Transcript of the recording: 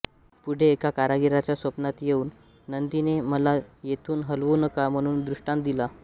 पुढे एका कारागीराच्या स्वप्नात येऊन नंदीने मला येथून हलवू नका म्हणून दृष्टांत दिला